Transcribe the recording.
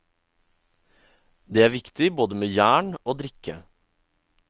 Det er viktig både med jern og drikke.